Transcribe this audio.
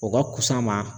O ka fusa an ma